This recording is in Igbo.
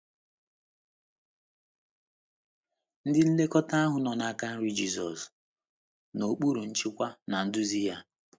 Ndị nlekọta ahụ nọ n’aka nri Jizọs — n’okpuru nchịkwa na nduzi ya.